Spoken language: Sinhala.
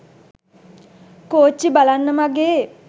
කෝච්චි බලන්න මගේ